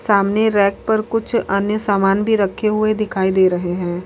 सामने रैक पर कुछ अन्य सामान भी रखे हुए दिखाई दे रहे हैं।